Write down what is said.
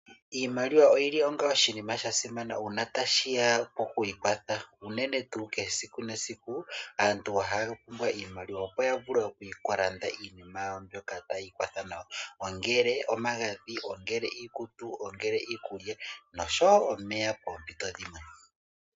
Iimaliwa oyili yasimana noonkondo uuna ngele tashiya pokwiikwatha, unene monkalo ya kehe esiku aantu ohaalongitha iimaliwa ya vulu okulanda iikwathi nima yawo ngaashi, omagadhi, iikutu, iikulya nomeya poompinto dhimwe.